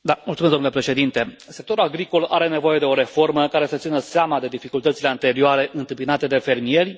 Domnul președinte, sectorul agricol are nevoie de o reformă care să țină seama de dificultățile anterioare întâmpinate de fermieri.